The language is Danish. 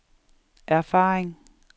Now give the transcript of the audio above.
erfaring